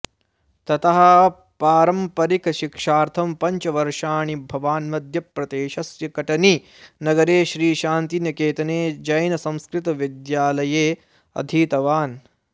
ततः पारम्परिकशिक्षार्थं पञ्च वर्षाणि भवान् मध्यप्रदेशस्य कटनी नगरे श्रीशान्तिनिकेतन जैनसंस्कृतविद्यालये अधीतवान्